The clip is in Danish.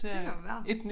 Det kan jo være